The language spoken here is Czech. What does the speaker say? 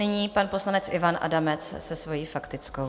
Nyní pan poslanec Ivan Adamec se svojí faktickou.